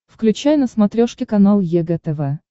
включай на смотрешке канал егэ тв